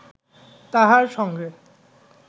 তাহার সঙ্গে